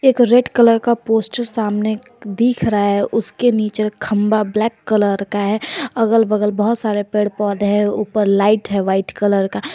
एक red colour का poster सामने दिख रहा है उसके नीचे खंबा ब्लैक कलर का है अगल बगल बहुत सारे पेड़ पौधे हैं ऊपर लाइट है वाइट कलर का।